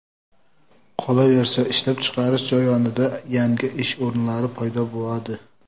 Qolaversa, ishlab chiqarish jarayonida yangi ish o‘rinlari paydo bo‘ladi.